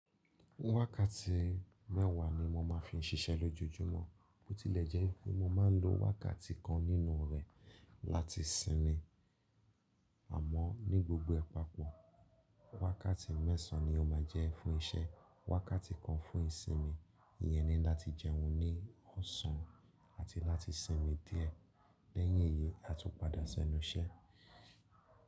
Wákàtí mẹ́wàá ni mo ma ń fi ṣiṣẹ́ lójojúmọ́, bó tilẹ̀ jẹ́ pé mo ma ń lo wákàtí kan nínú rẹ̀ láti sinmi, àmọ́ ní gbogbo ẹ papọ̀ wákàtí mẹ́sàn án ni ó ma jẹ́ fún iṣẹ́, wákàtí kan fún ìsinmi yẹn ni láti jẹun ní ọ̀sán àti láti sinmi díẹ̀ lẹ́yìn èyí à tún padà sí ọ́nu iṣẹ́.